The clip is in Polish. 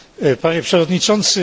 Panie Przewodniczący!